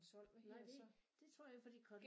Nej det det tror jeg fordi